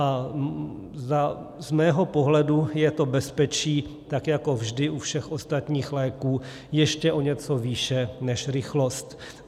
A z mého pohledu je to bezpečí tak jako vždy u všech ostatních léků ještě o něco výše než rychlost.